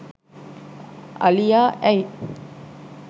අලියා ඇයි